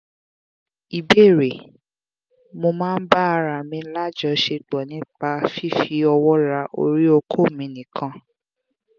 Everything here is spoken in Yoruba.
ìbéèrè: mo máa ń ba ara mi lajosepo nípa fífi owo ra ori oko mi nikan